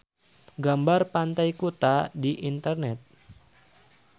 Seueur nu milarian gambar Pantai Kuta di internet